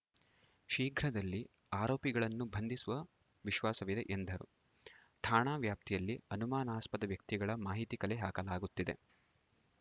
ಶೀಘ್ರದಲ್ಲಿ ಆರೋಪಿಗಳನ್ನು ಬಂಧಿಸುವ ವಿಶ್ವಾಸವಿದೆ ಎಂದರು ಠಾಣಾ ವ್ಯಾಪ್ತಿಯಲ್ಲಿ ಅನುಮಾನಾಸ್ಪದ ವ್ಯಕ್ತಿಗಳ ಮಾಹಿತಿ ಕಲೆ ಹಾಕಲಾಗುತ್ತಿದೆ